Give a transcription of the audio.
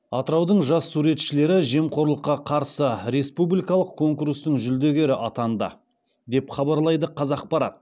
атыраудың жас суретшілері жемқорлыққа қарсы республикалық конкурстың жүлдегері атанды деп хабарлайды қазақпарат